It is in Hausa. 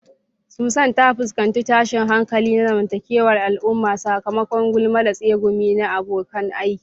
Susan ta fuskanci tashin hankali na zamantakewar al'umma sakamakon gulma da tsegumi na abokan aiki.